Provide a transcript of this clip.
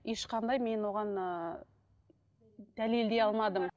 ешқандай мен оған ыыы дәлелдей алмадым